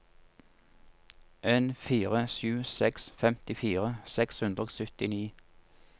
en fire sju seks femtifire seks hundre og syttini